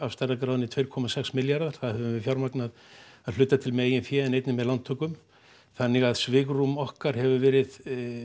af stærðargráðunni tvö komma sex milljarðar sem við höfum fjármagnað af hluta til með eigin fé en einnig með lántökum þannig að svigrúm okkar hefur verið